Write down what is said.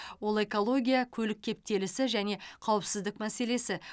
ол экология көлік кептелісі және қауіпсіздік мәселесі